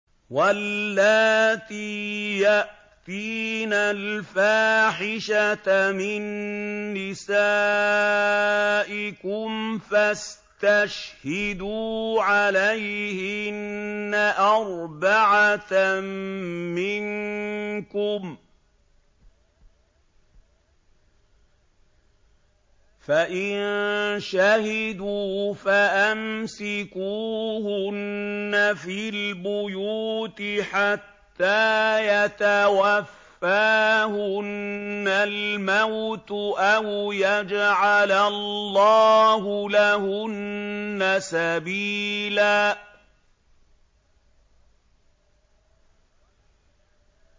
وَاللَّاتِي يَأْتِينَ الْفَاحِشَةَ مِن نِّسَائِكُمْ فَاسْتَشْهِدُوا عَلَيْهِنَّ أَرْبَعَةً مِّنكُمْ ۖ فَإِن شَهِدُوا فَأَمْسِكُوهُنَّ فِي الْبُيُوتِ حَتَّىٰ يَتَوَفَّاهُنَّ الْمَوْتُ أَوْ يَجْعَلَ اللَّهُ لَهُنَّ سَبِيلًا